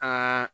Aa